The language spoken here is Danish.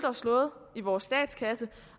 slået i vores statskasse